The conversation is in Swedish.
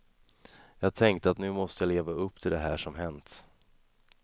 Jag tänkte att nu måste jag leva upp till det här som hänt.